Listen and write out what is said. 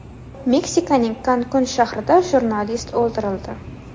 Meksikaning Kankun shahrida jurnalist o‘ldirildi.